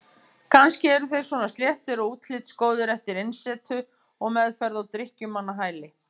Kannski eru þeir svona sléttir og útlitsgóðir eftir innisetur og meðferð á drykkjumannahæli.